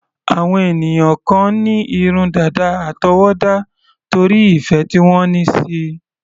Àwọn ènìyàn kan ní irun dàda àtọwọ́dá, torí ìfẹ́ tí wọ́n ní síi.